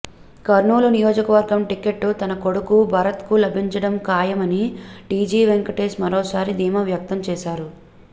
కర్నూలు నియోజకవర్గం టికెట్ తన కొడుకు భరత్కు లభించడం ఖాయమని టీజీ వెంకటేశ్ మరోసారి ధీమా వ్యక్తం చేశారు